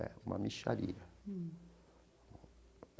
É, uma mixaria.